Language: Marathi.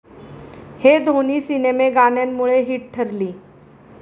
हे दोन्ही सिनेमे गाण्यांमुळे हिट ठरली.